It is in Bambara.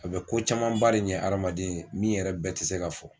A be ko camanba de ɲɛ adamaden ye min yɛrɛ bɛɛ te se ka fɔ